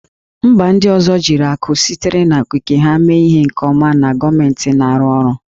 Mba ndị ọzọ jiri akụ sitere n'okike ha mee ihe nke ọma na gọọmentị na-arụ ọrụ